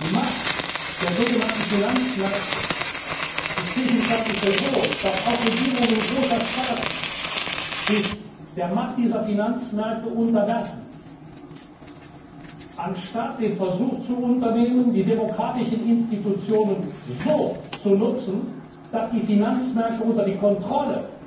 Die Macht der sogenannten Finanzmärkte ist zwischenzeitlich so groß, dass auch Regierungen großer Staaten sich der Macht dieser Finanzmärkte unterwerfen, anstatt den Versuch zu unternehmen, die demokratischen Institutionen so zu nutzen, dass die Finanzmärkte unter die Kontrolle